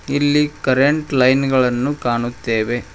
ಇಲ್ಲಿ current line ಗಳನ್ನು ಕಾಣುತ್ತೇವೆ.